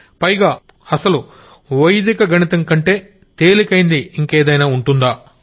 పైగా అసలు వైదిక గణితం కంటే తేలికైంది ఇంకేదైనా ఉంటుందా